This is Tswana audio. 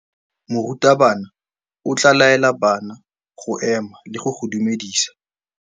Morutabana o tla laela bana go ema le go go dumedisa.